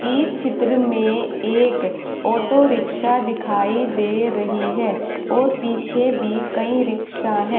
इस चित्र में एक ऑटो रिक्शा दिखाई दे रही है और पीछे भी कई रिक्शा है।